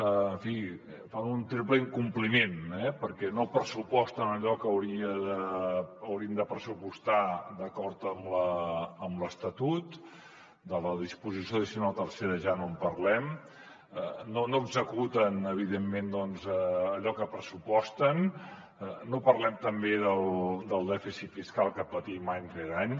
en fi fan un triple incompliment perquè no pressuposten allò que haurien de pressupostar d’acord amb l’estatut de la disposició addicional tercera ja no en parlem no executen evidentment doncs allò que pressuposten no parlem tampoc del dèficit fiscal que patim any rere any